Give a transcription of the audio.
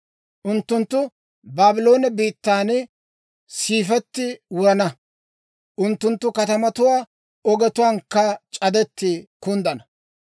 Unttunttu Baabloone biittan siifetti wurana; unttunttu katamatuwaa ogetuwaankka c'adetti kunddana.